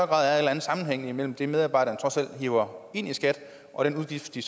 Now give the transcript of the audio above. grad af sammenhæng mellem det medarbejderne trods alt hiver ind til skat og den udgift de